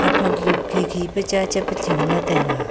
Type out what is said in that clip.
haphang du khikhi pa cha chap chamla taiga.